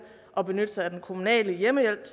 at benytte sig af den kommunale hjemmehjælp